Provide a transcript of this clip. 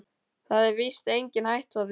Það er víst engin hætta á því.